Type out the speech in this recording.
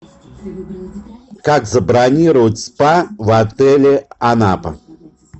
как забронировать спа в отеле анапа